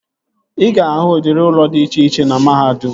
Ị ga-ahụ udịri ụlọ dị iche iche na mahadum